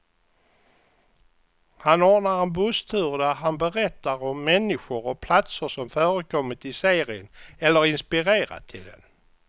Han ordnar en busstur där han berättar om människor och platser som förekommit i serien, eller inspirerat till den.